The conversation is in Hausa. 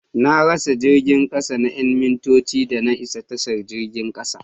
Na rasa jirgin kasa na 'yan mintoci da na isa tashar jirgin kasa.